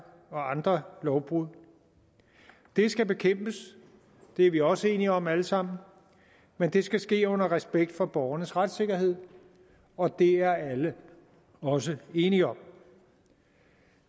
og andre lovbrud det skal bekæmpes det er vi også enige om alle sammen men det skal ske med respekt for borgernes retssikkerhed og det er alle også enige om